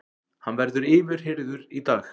Hann verður yfirheyrður í dag